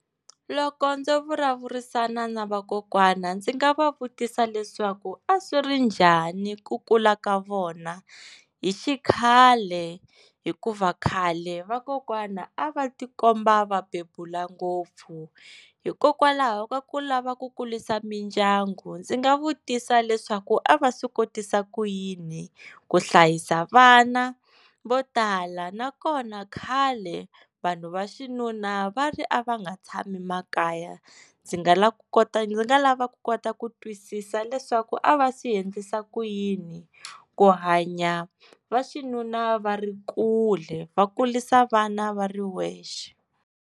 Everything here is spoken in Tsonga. Loko ndzo vulavurisana na vakokwana ndzi nga va vutisa leswaku a swi ri njhani ku kula ka vona hi xikhale hikuva khale vakokwana a va ti komba va bebula ngopfu hikokwalaho va kula va ku kurisa mindyangu ndzi nga vutisa leswaku a va swi kotisa ku yini ku hlayisa vana vo tala na kona khale vanhu va xinuna va ri a va nga tshami makaya ndzi nga la ku kota ndzi nga lava ku kota ku twisisa leswaku a va swi endlisa ku yini, ku hanya va xinuna va ri kule va kurisa vana va ri wexe.